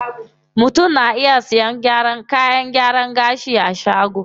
Mutum na iya sayan kayan gyaran gashi a shagon.